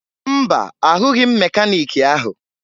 Mba, ahụghị m mekaniiki ahụ